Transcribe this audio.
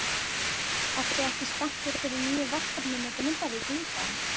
Ertu ekki spenntur fyrir nýju verkefni með Grindavík líka?